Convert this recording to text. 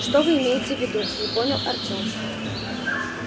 что вы имеете в виду не понял артем